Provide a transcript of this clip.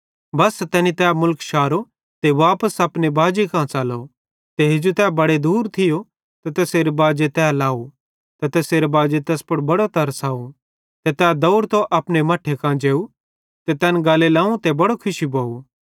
बस्सा तैनी तै मुलख शारो ते वापस अपने बाजी कां च़लो ते हेजू तै बड़े दूरे थियो ते तैसेरे बाजे तै लाव ते तैसेरे बाजी तैस पुड़ बड़ो तरस अव ते तै दौवड़तो अपने मट्ठे कां जेव ते तैन गल्ले लाव ते बड़ो खुशी भोव